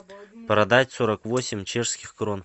продать сорок восемь чешских крон